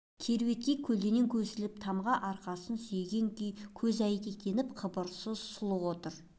кереуетке көлденең көсіліп тамға арқасын сүйеген күй көз әйнектеніп қыбырсыз сұлық отыр